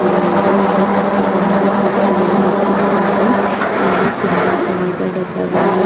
ಕೂಡ ಇವೆ ಇಲ್ಲಿ ಕಪ್ಪು ಬಣ್ಣದ ಕುರ್ಚಿಗಳು ಇಟ್ಟಿದ್ದಾರೆ ಇಲ್ಲಿ ತುಂಬಾ ತರದ ಡಬ್ಬಗಳು--